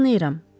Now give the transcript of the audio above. Tanıyıram,